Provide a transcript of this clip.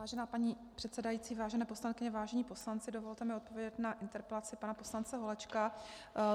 Vážená paní předsedající, vážené poslankyně, vážení poslanci, dovolte mi odpovědět na interpelaci pana poslance Holečka.